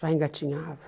Já engatinhava.